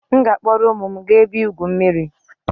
m ga-akpọrọ ụmụ m gaa ebe igwu mmiri